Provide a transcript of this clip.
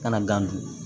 Kana gan dun